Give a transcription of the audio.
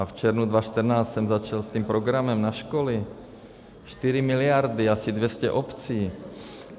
A v červnu 2014 jsem začal s tím programem na školy, 4 miliardy, asi 200 obcí.